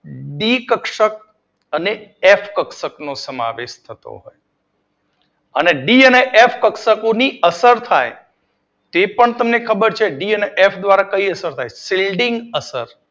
C કક્ષક અને F કક્ષક નો સમાવેશ થતો હોય છે. અને ડી અને એફ કક્ષકો ની અત પાય એ પણ તમને ખબર છે ડી અને એફ દ્વારા કઈ અસર થાય છે ફિલ્ડિંગ અસર